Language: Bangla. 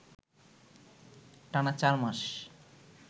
টানা চার মাস